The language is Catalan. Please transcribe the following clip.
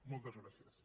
moltes gràcies